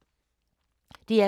DR K